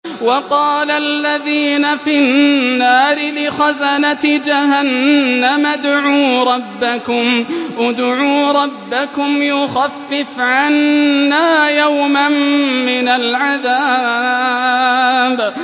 وَقَالَ الَّذِينَ فِي النَّارِ لِخَزَنَةِ جَهَنَّمَ ادْعُوا رَبَّكُمْ يُخَفِّفْ عَنَّا يَوْمًا مِّنَ الْعَذَابِ